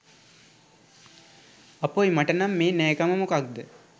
අපොයි මට නම් මේ නෑකම මොකක්ද